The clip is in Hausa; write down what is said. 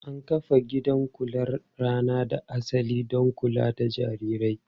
An kafa gidan kular rana da asali don kula da jarirai.